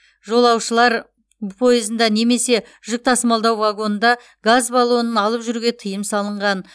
жолаушылар пойызында немесе жүк тасымалдау вагонында газ баллонын алып жүруге тыйым салынған